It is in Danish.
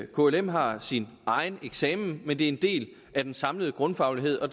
klm har sin egen eksamen men det er en del af den samlede grundfaglighed og